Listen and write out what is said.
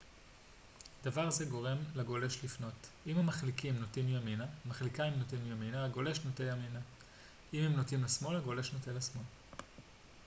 דבר זה גורם לגולש לפנות אם המחליקיים נוטים ימינה הגולש נוטה ימינה ואם הם נוטים לשמאל הגולש נוטה לשמאל